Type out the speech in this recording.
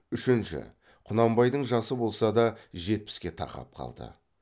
үшінші құнанбайдың жасы болса да жетпіске тақап қалды